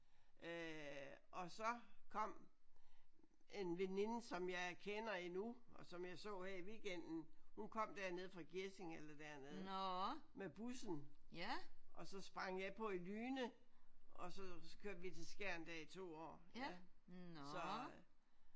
Øh og så kom en veninde som jeg kender endnu og som jeg så her i weekenden hun kom dernede fra Gjesing eller dernede med bussen og så sprang jeg på i Lyne og så kørte vi til Skjern der i to år så